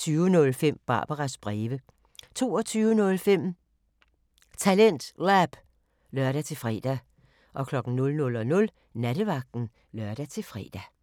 20:05: Barbaras breve 22:05: TalentLab (lør-fre) 00:00: Nattevagten (lør-fre)